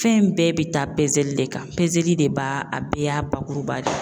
Fɛn bɛɛ be taa pezeli de kan pezeli de b'a bɛɛ y'a bakuruba de ye.